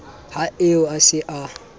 ha eo a se a